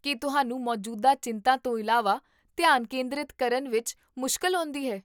ਕੀ ਤੁਹਾਨੂੰ ਮੌਜੂਦਾ ਚਿੰਤਾ ਤੋਂ ਇਲਾਵਾ ਧਿਆਨ ਕੇਂਦਰਿਤ ਕਰਨ ਵਿੱਚ ਮੁਸ਼ਕਲ ਆਉਂਦੀ ਹੈ?